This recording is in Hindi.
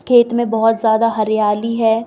खेत में बहुत ज्यादा हरियाली है।